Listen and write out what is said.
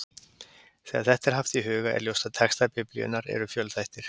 Þegar þetta er haft í huga er ljóst að textar Biblíunnar eru fjölþættir.